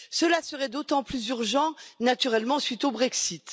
Cela serait d'autant plus urgent naturellement suite au Brexit.